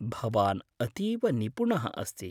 भवान् अतीव निपुणः अस्ति।